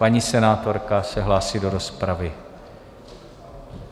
Paní senátorka se hlásí do rozpravy.